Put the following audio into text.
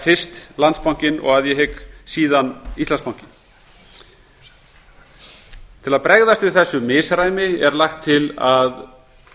fyrst landsbankinn og síðan íslandsbanki að ég hygg til að bregðast við þessu misræmi er lagt til að